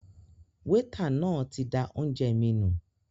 Wétà náà tí dá oúnjẹ mí nù